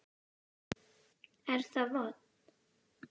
Er það vont?